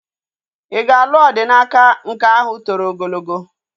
Ị ga-alụ Odinaka nke ahụ toro ogologo?